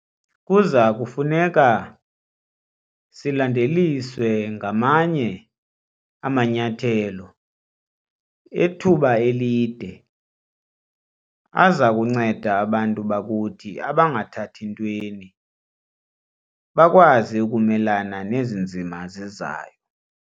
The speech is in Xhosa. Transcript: Kuza kufuneka silandeliswe ngamanye amanyathelo ethuba elide aza kunceda abantu bakuthi abangathathi ntweni bakwazi ukumelana nezi nzima zizayo.